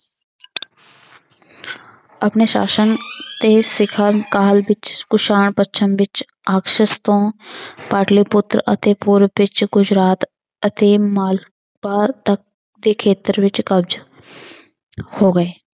ਆਪਣੇ ਸ਼ਾਸ਼ਨ ਤੇ ਕਾਲ ਵਿੱਚ ਕੁਸ਼ਾਣ ਪੱਛਮ ਵਿੱਚ ਤੋਂ ਪਾਟਲੀਪੁਤਰ ਅਤੇ ਪੂਰਵ ਵਿੱਚ ਗੁਜਰਾਤ ਅਤੇ ਮਾਲਵਾ ਤੱਕ ਦੇ ਖੇਤਰ ਵਿੱਚ ਕਬਜ਼ਾ ਹੋ ਗਏ।